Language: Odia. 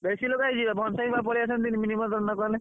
ବେଶୀ ଲୋକ ହେଇଯିବେ ନିମନ୍ତ୍ରଣ ନ କଲେ।